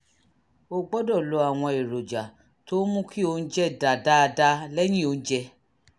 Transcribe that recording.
o gbọ́dọ̀ lo àwọn èròjà tó ń mú kí oúnjẹ dà dáadáa lẹ́yìn oúnjẹ